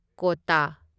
ꯀꯣꯇꯥ